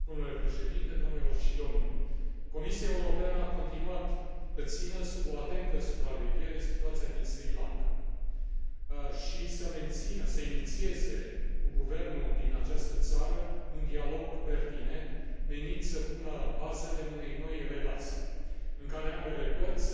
Comisia Europeană a continuat să țină sub o atentă supraveghere situația din Sri Lanka și să inițieze cu guvernul din această țară un dialog pertinent, menit să pună bazele unei noi relații în care ambele părți să depună eforturi pentru a coopera